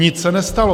Nic se nestalo!